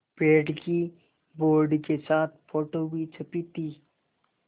पेड़ की बोर्ड के साथ फ़ोटो भी छपी थी